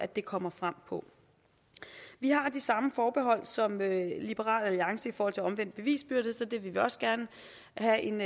det kommer frem på vi har de samme forbehold som liberal alliance i forhold til omvendt bevisbyrde så det vil vi også gerne have en